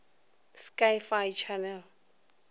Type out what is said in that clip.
sci fi channel